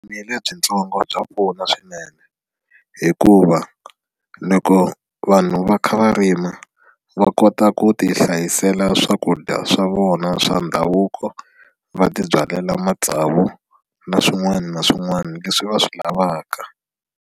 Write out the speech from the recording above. Vurimi lebyitsongo bya pfuna swinene hikuva loko vanhu va kha va rima va kota ku ti hlayisela swakudya swa vona swa ndhavuko va tibyalela matsavu na swin'wana na swin'wana leswi va swi lavaka.